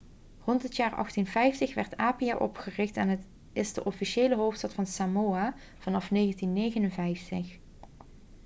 rond het jaar 1850 werd apia opgericht en het is de officiële hoofdstad van samoa vanaf 1959